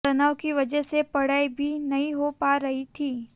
तनाव की वजह से पढ़ाई भी नहीं हो पा रही थी